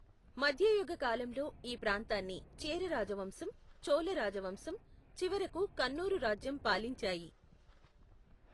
మధ్యయుగ కాలంలో ఈ ప్రాంతాన్ని చేర రాజవంశం, చోళ రాజవంశం, చివరకు కన్నూరు రాజ్యం పాలించాయి.